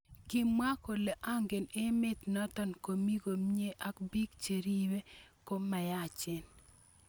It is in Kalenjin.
kimwa kole angen emet noton komii komnye ak piik cheripe ko myachen